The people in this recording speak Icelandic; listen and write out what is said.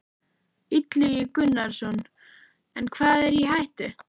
Illugi Gunnarsson: En hvað er í hættu?